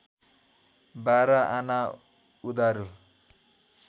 बाह्र आना उधारो